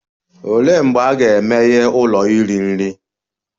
Olee mgbe a ga-emeghe ụlọ iri nri?